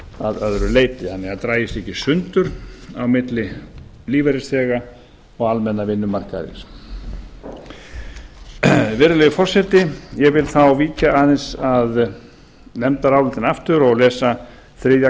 að öðru leyti þannig að það daga ekki í sundur á milli lífeyrisþega og almenna vinnumarkaðarins virðulegi forseti ég vil þá víkja aðeins að nefndarálitinu og lesa þriðja